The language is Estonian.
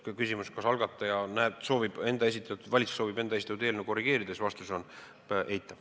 Küsimusele, kas algataja, kas valitsus soovib enda esitatud eelnõu korrigeerida, on vastus eitav.